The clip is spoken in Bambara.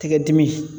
Tɛgɛ dimi